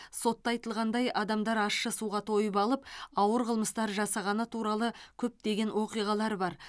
сотта айтылғандай адамдар ащы суға тойып алып ауыр қылмыстар жасағаны туралы көптеген оқиғалар бар